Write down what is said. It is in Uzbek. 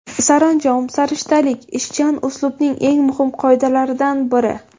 Saranjom-sarishtalik – ishchan uslubning eng muhim qoidalaridan biri.